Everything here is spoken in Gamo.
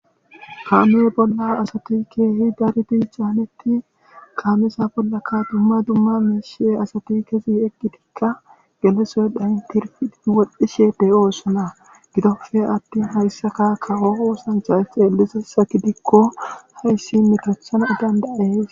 Kaame bolla asati ke'izi caanetin kaameza bollakka asati dumma dumma miishshe gidkka geliyosoy etikka woxishe de'osona gidoppe attin hayssakka kawo oosanchay issi meto ooththanas danda'ees.